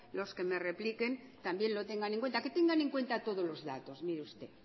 los que me repliquen también lo tengan en cuenta que tengan en cuenta todos los datos mire usted